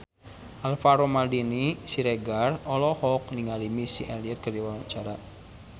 Alvaro Maldini Siregar olohok ningali Missy Elliott keur diwawancara